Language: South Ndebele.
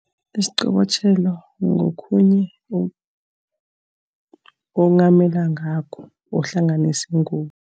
Isiqobotjhelo ngokhunye onghamela ngakho, uhlanganise ingubo.